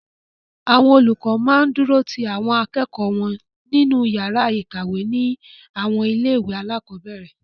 Àwọn olùkọ máa ń dúró ti àwọn akẹ́kọ̀ọ́ wọn nínú yàrá ìkàwé ní àwọn ilé-ìwé alákọ̀ọ́bẹ̀ẹ̀rẹ̀.